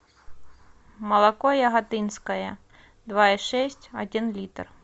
молоко яготинское два и шесть один литр